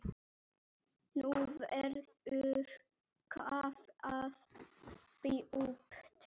Nú verður kafað djúpt.